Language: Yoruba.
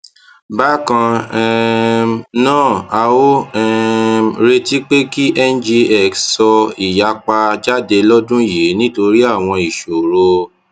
bákan um náà a ò um retí pé kí ngx sọ ìyapa jáde lódún yìí nítorí àwọn ìṣòro